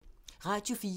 Radio 4